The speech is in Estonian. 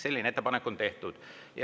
Selline ettepanek on tehtud.